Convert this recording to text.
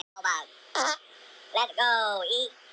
Þeir voru ekki fólk sem skrifaði bréf.